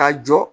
Ka jɔ